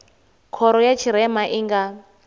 khoro ya tshirema i nga